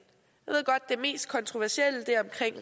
jeg mest kontroversielle